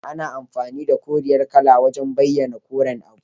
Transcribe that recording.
Ana amfani da koriyar kala wajan bayana koren abu